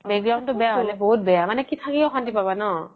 তো বেয়া হ্'লে বহুত বেয়া মানে থাকি অশান্তি পাবা ন